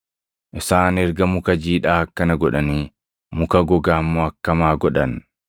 Isaan erga muka jiidhaa akkana godhanii muka gogaa immoo akkam haa godhan?”